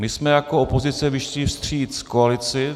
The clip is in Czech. My jsme jako opozice vyšli vstříc koalici.